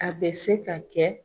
A bɛ se ka kɛ